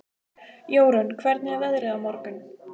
Jórunn, hvernig er veðrið á morgun?